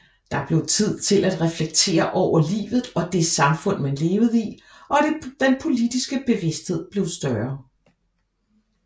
Der blev tid til at reflektere over livet og det samfund man levede i og den politiske bevidsthed blev større